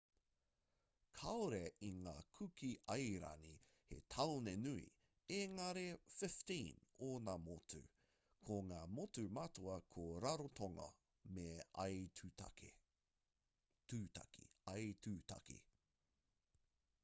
kāore i ngā kuki airani he tāone nui engari 15 ōna motu ko ngā motu matua ko rarotonga me aitutaki